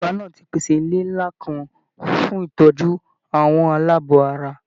Ìjọba náà ti pèsè ilé ńlá kan fún ìtọ́jú àwọn aláàbọ̀ ara.